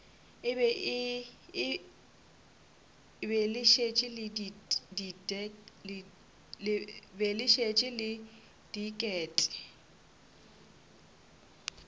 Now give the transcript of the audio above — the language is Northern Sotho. be le šetše le diket